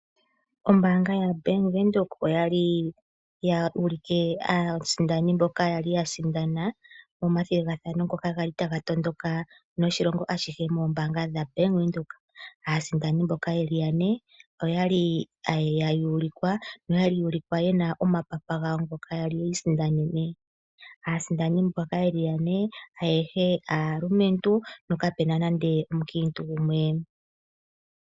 Ombaanga yaBank Windhoek oya li ya ulike aasindani mboka ya sindana omathigathano ngoka ga li taga tondoka noshilongo ashike moombanga dhoBank Windhoek. Aasindani mboka ye li ya ne oyali ya ulikwa noya li ya ulikwa ye na omapapa gawo ngoka ya li yiisindanene. Aasindani ayehe mbaka ye li ya ne aayehe aalumentu no kapuna nande omukiintu gumwe.